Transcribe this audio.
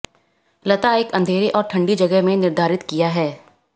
लता एक अंधेरे और ठंडी जगह में निर्धारित किया है